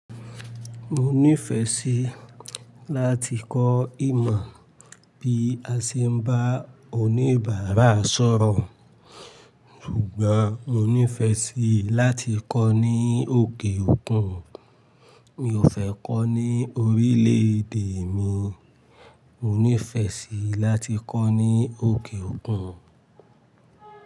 Mo nífẹẹ sí láti kọ́ ìmọ̀ bí a ṣe ń bá oníbàárà sọ̀rọ̀, ṣùgbọ́n mo nífẹẹ sí láti kọ́ ní òkè òkun. Mi ò fẹ́ kọ́ ní orílẹ̀ èdè mi, mo nífẹẹ sí láti kọ́ ní òkè òkun.